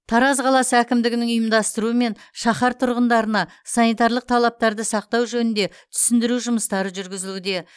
тараз қаласы әкімдігінің ұйымдастыруымен шаһар тұрғындарына санитарлық талаптарды сақтау жөнінде түсіндіру жұмыстары жүргізілуде